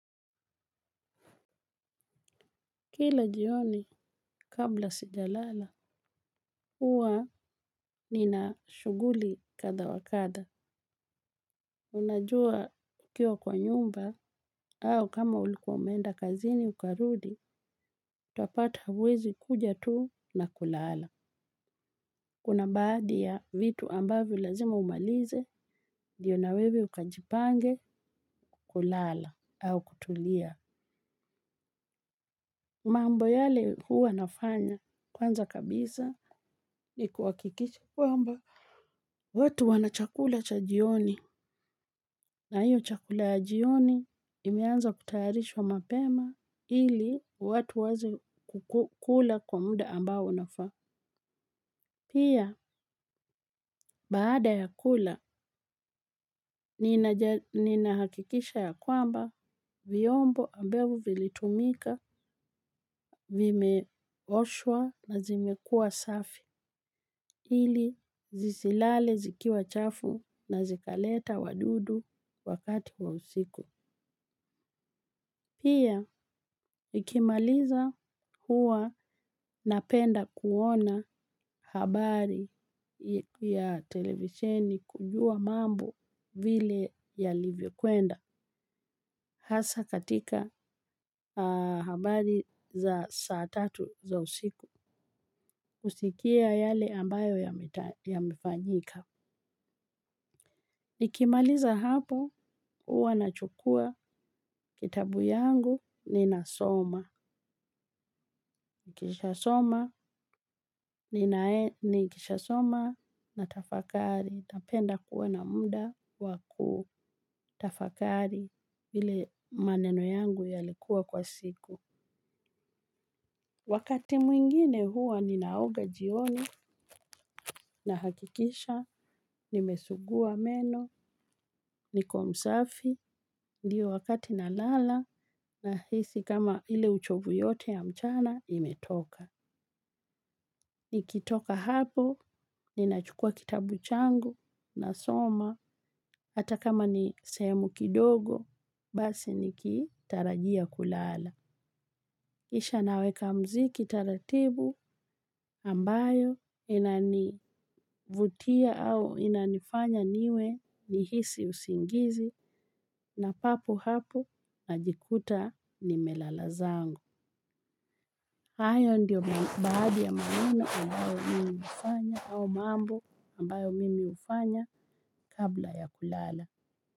Kila jioni, kabla sijalala, huwa, nina shuguli katha wakatha. Unajua, ukiwa kwa nyumba, au kama ulikuwa umeenda kazini ukarudi, tapata hauwezi kuja tuu, na kulala. Kuna mbaadi ya vitu ambavyo lazima umalize, diyo na wewe ukajipange, kulala, au kutulia. Maambo yale huwa nafanya, kwanza kabisa ni kuwakikisha kwamba. Watu wana chakula chajioni. Na hii chakula ya jioni, imeanza kutayarishwa mapema, ili, watu waeze kula, kwa muda ambao unafaa. Pia, baada ya kula, ninahakikisha ya kwamba, viombo ambavyo vilitumika, vimeoshwa na zimekua safi. Ili zisilale zikiwa chafu na zikaleta wadudu, wakati wa usiku. Pia, nikimaliza, hua napenda kuona habari ya, televiseni kujua mambo vile ya livyokwenda. Hasa katika habari, za saa tatu za usiku. Usikia yale ambayo yamefanyika. Nikimaliza hapo, uwa na chukua kitabu yangu, ninasoma. Nikishasoma, na tafakari. Tapenda kuwa na muda waku tafakari, vile maneno yangu yalikuwa kwa siku. Wakati mwingine, huwa ninaoga jioni, na hakikisha nimesugua meno niko msafi. Ndio wakati na lala, na hisi kama ile uchovu yote ya mchana, imetoka. Nikitoka hapo, ninachukua kitabu changu, na soma, hata kama ni seemu kidogo, basi nikitarajia kulala. Kisha naweka mziki taratibu, ambayo, inanivutia au inanifanya niwe ni hisi usingizi na papo hapo najikuta, nimelala zangu. Hayo ndio baadi ya maneno ambayo mimi ufanya au mambo, ambayo mimi ufanya kabla ya kulala.